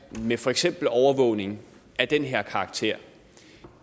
med for eksempel overvågning af den her karakter